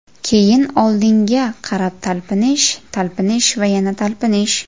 Keyin oldinga qarab talpinish, talpinish va yana talpinish.